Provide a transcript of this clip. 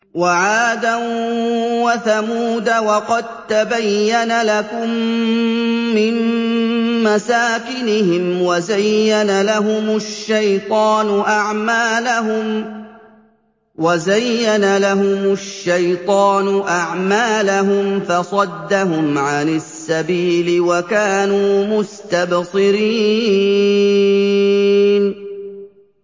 وَعَادًا وَثَمُودَ وَقَد تَّبَيَّنَ لَكُم مِّن مَّسَاكِنِهِمْ ۖ وَزَيَّنَ لَهُمُ الشَّيْطَانُ أَعْمَالَهُمْ فَصَدَّهُمْ عَنِ السَّبِيلِ وَكَانُوا مُسْتَبْصِرِينَ